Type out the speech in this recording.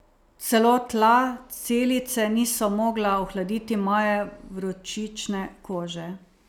Celo tla celice niso mogla ohladiti moje vročične kože.